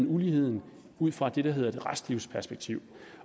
uligheden ud fra det der hedder et restlivsperspektiv